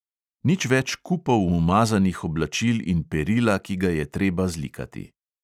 Nič več kupov umazanih oblačil in perila, ki ga je treba zlikati!